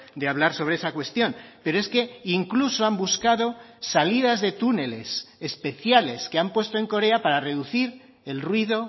de hablar sobre esa cuestión pero es que incluso han buscado salidas de túneles especiales que han puesto en corea para reducir el ruido